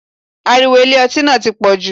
Ariwo Ilé ọtí náà ti pọ̀jù.